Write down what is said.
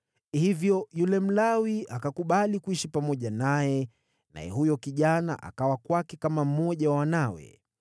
Hivyo yule Mlawi akakubali kuishi pamoja naye, naye huyo kijana akawa kwake kama mmoja wa wanawe.